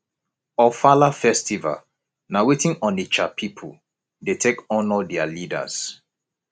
ofala festival na weti onitsha pipu dey take honour their leaders